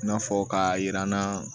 I n'a fɔ k'a yira n na